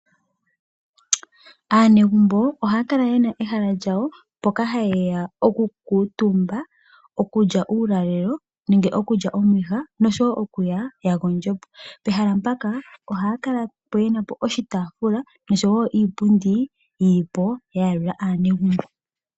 Aanegumbo ohaya kala ye na ehala lyawo mpoka haye ya okukuutumba, okulya uulalelo nenge okulya omwiha noshowo oku ya ya gondje po . Pehala mpaka ohaya kala ye na po oshitaafula noshowo iipundi yi li po ya yalula aanegumbo.